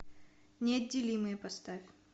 неотделимые поставь